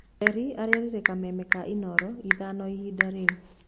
Njeri arerire kameme ka inooro ithano ihinda rĩu.